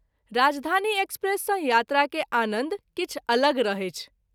राजधानी एक्सप्रेस सँ यात्रा के आनंद किछु अलग रहैछ।